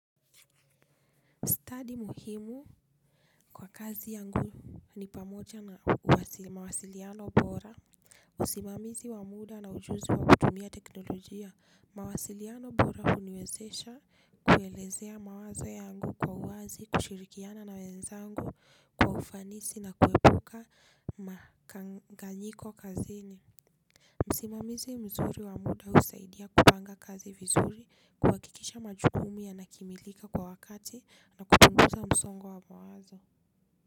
Stadi muhimu kwa kazi yangu ni pamoja na mawasiliano bora. Usimamizi wa muda na ujuzi wa kutumia teknolojia, mawasiliano bora huniwezesha kuelezea mawazo yangu kwa uwazi, kushirikiana na wenzangu kwa ufanisi na kuwepuka makanganyiko kazini usimamizi mzuri wa muda usaidia kupanga kazi vizuri kuhakikisha majukumu yanakimilika kwa wakati na kupunguza msongo wa mawazo.